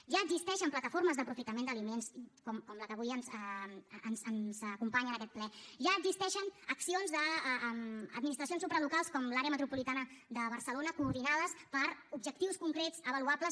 ja existeixen plataformes d’aprofitament d’aliments com la que avui ens acompanya en aquest ple ja existeixen accions d’administracions supralocals com l’àrea metropolitana de barcelona coordinades per objectius concrets avaluables